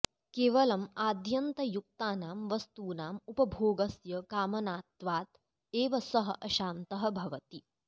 केवलम् आद्यन्तयुक्तानां वस्तूनाम् उपभोगस्य कामनात्वात् एव सः अशान्तः भवति